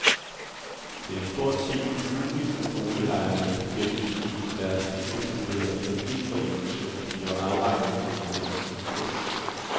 Det er stort set umuligt for boligejerne at gennemskue, om deres nyetablerede kreditforeningslån bliver afregnet til den rigtige kurs.